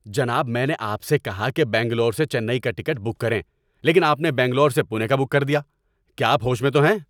جناب! میں نے آپ سے کہا کہ بنگلور سے چنئی کا ٹکٹ بک کریں لیکن آپ نے بنگلور سے پونے کا بک کر دیا۔ کیا آپ ہوش میں تو ہیں؟